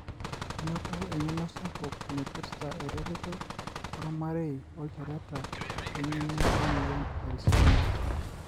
inoto engeno sapuk naipirta eretoto olmarei olchoreta we ngeno emoyian e-Alzheimers.